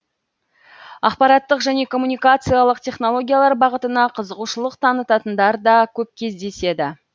ақпараттық және коммуникациялық технологиялар бағытына қызығушылық танытатындар да көп кездеседі